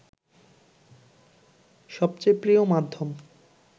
সবচেয়ে প্রিয় মাধ্যম